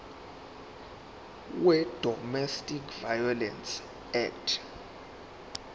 wedomestic violence act